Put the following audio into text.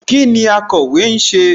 Kíni akọ̀wé ń ṣe?